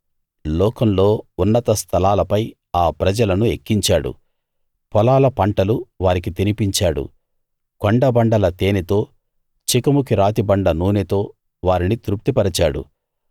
లోకంలో ఉన్నత స్థలాలపై ఆ ప్రజలను ఎక్కించాడు పొలాల పంటలు వారికి తినిపించాడు కొండబండల తేనెతో చెకుముకి రాతిబండ నూనెతో వారిని తృప్తిపరిచాడు